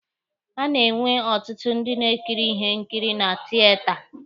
A na-enwe ọtụtụ ndị na-ekiri ihe nkiri na tieta.